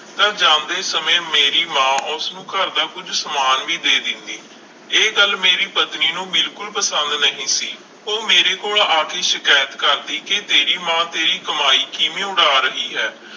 ਤਾਂ ਜਾਂਦੇ ਸਮੇਂ ਮੇਰੀ ਮਾਂ ਉਸਨੂੰ ਘਰਦਾ ਕੁੱਝ ਸਮਾਨ ਵੀ ਦੇ ਦਿੰਦੀ, ਇਹ ਗੱਲ ਮੇਰੀ ਪਤਨੀ ਨੂੰ ਬਿਲਕੁਲ ਪਸੰਦ ਨਹੀਂ ਸੀ, ਉਹ ਮੇਰੇ ਕੋਲ ਆ ਕੇ ਸ਼ਿਕਾਇਤ ਕਰਦੀ ਕਿ ਤੇਰੀ ਮਾਂ ਤੇਰੀ ਕਮਾਈ ਕਿਵੇਂ ਉਡਾ ਰਹੀ ਹੈ